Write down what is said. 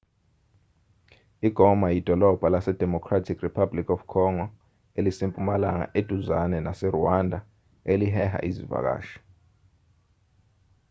igoma yidolobha lasedemocratic republic of congo elise mpumalanga eduzane naserwanda eliheha izivakashi